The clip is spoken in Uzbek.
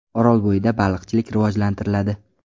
Orolbo‘yida baliqchilik rivojlantiriladi.